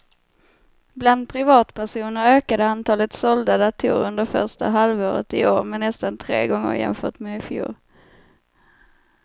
Bland privatpersoner ökade antalet sålda datorer under första halvåret i år med nästan tre gånger jämfört med i fjol.